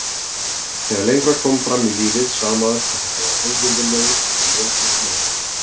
Þegar lengra kom fram í lífið sá maður hvað þetta var auvirðilegur og ljótur ávani.